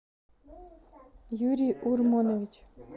юрий урманович